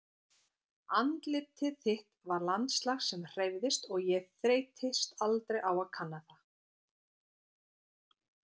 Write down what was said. Andlitið þitt var landslag sem hreyfðist og ég þreyttist aldrei á að kanna það.